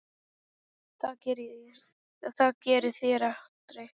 Það gerið þér aldrei.